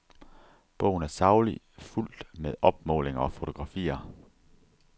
Bogen er saglig, fuldt med opmålinger og fotografier.